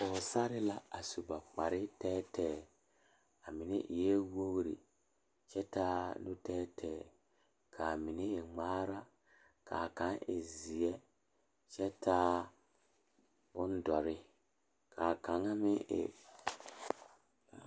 Dɔɔba ba ba zeŋ leɛ la ba puori ko zie ba naŋ daare bayi zeŋ ta la teŋa bata vɔgle la sapele naŋ waa peɛle bonyene vɔgle sapele naŋ e sɔglɔ ba taa la ba tontuma boma kaa waa buluu.